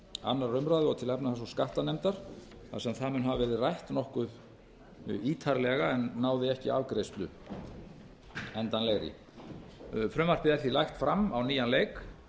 annarrar umræðu og til efnahags og skattanefndar þar sem það mun hafa verið rætt nokkuð ítarlega en náði ekki afgreiðslu endanlegri frumvarpið er því lagt fram á nýjan leik